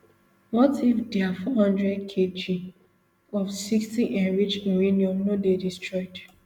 what if dia four hundredkg of sixty enriched uranium no dey destroyed